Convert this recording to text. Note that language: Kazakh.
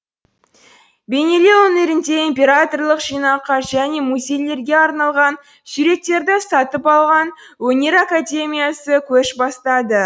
бейнелеу өнерінде императорлық жинаққа және музейлерге арналған суреттерді сатып алған өнер академиясы көш бастады